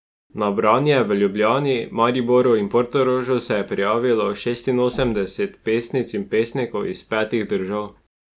Na branje v Ljubljani, Mariboru in Portorožu se je prijavilo šestinosemdeset pesnic in pesnikov iz petih držav.